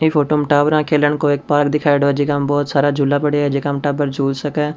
ये फोटो में टाबरा के खेलन को एक पार्क दिखाईडो है जेका में बहुत सारा झूला पड़या है जका में टाबर झूल सके।